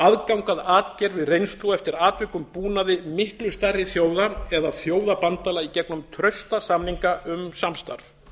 aðgang að atgervi reynslu og eftir atvikum búnaði miklu stærri þjóða eða þjóðabandalaga í gegnum trausta samninga um samstarf